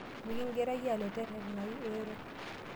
Mikigirae aalej terenayu ero.